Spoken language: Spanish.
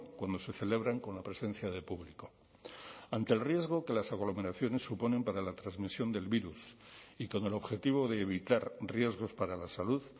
cuando se celebran con la presencia de público ante el riesgo que las aglomeraciones suponen para la transmisión del virus y con el objetivo de evitar riesgos para la salud